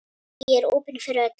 Ég er opin fyrir öllu.